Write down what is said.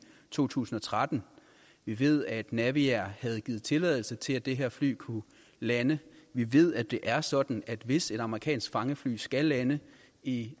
to tusind og tretten vi ved at naviair havde givet tilladelse til at det her fly kunne lande vi ved at det er sådan at hvis et amerikansk fangefly skal lande i